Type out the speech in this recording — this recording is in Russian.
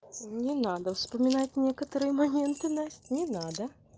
не надо вспоминать некоторые моменты настя не надо